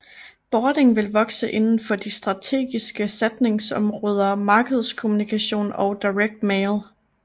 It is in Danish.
Bording vil vokse inden for de strategiske satsningsområder markedskommunikation og Direct mail